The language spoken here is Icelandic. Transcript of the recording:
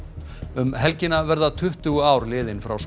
um helgina verða tuttugu ár liðin frá